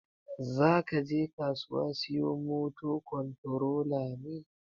Zakaje kasuwa siyo moto kontorola ne?